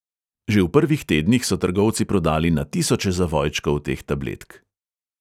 Že v prvih tednih so trgovci prodali na tisoče zavojčkov teh tabletk.